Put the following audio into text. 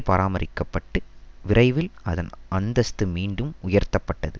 பராமரிக்க பட்டு விரைவில் அதன் அந்தஸ்து மீண்டும் உயர்த்தப்பட்டது